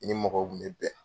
ni mɔgɔw kun bɛ bɛn.